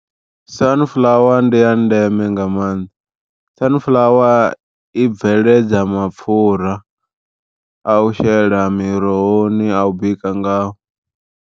Sanifuḽawa ndi ya ndeme nga maanḓa, sanifuḽawa i bveledza mapfhura a u shela mirohoni a u bika ngao.